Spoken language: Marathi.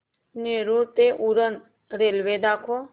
नेरूळ ते उरण रेल्वे दाखव